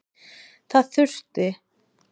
Það þurfi að laga.